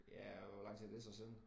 Ja hvor lang tid er det så siden